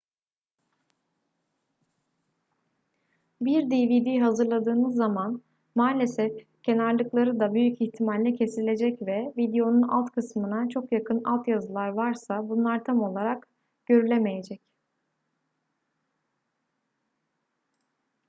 bir dvd hazırladığınız zaman maalesef kenarlıkları da büyük ihtimalle kesilecek ve videonun alt kısmına çok yakın altyazılar varsa bunlar tam olarak görülemeyecek